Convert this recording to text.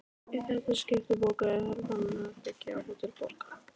Í þetta skipti bókaði Hermann herbergi á Hótel Borg.